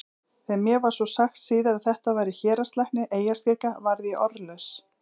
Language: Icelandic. Þegar mér var svo sagt síðar að þetta væri héraðslæknir eyjaskeggja varð ég orðlaus.